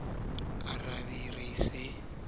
a be re sa di